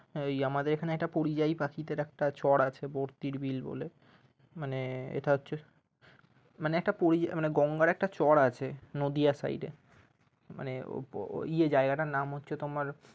ওই আমাদের এখানে একটা পরিযায়ী পাখিদের একটা চর আছে বর্তির বিল বলে মানে এটা হচ্ছে মানে গঙ্গার একটা চর আছে নদিয়া side এ মানে ওই জায়গাটার নাম হচ্ছে তোমার